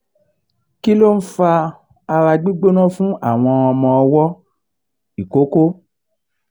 kí ló ń fa ara gbigbóná fun awon omo owo ikoko?